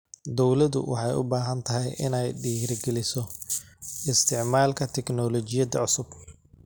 Dawladdu waxay u baahan tahay inay dhiirigeliso isticmaalka tignoolajiyada cusub.